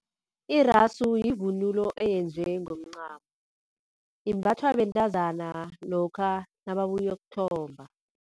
Irasu yivunulo eyenziwe ngomncamo, imbathwa bentazana lokha nababuyokuthomba.